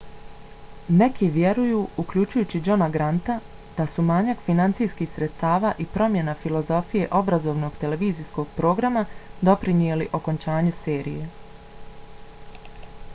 neki vjeruju uključujući johna granta da su manjak finansijskih sredstava i promjena filozofije obrazovnog televizijskog programa doprinijeli okončanju serije